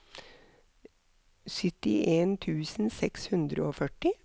syttien tusen seks hundre og førti